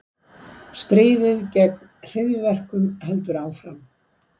Stríðið gegn hryðjuverkum heldur áfram